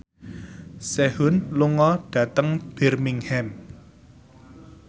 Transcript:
Sehun lunga dhateng Birmingham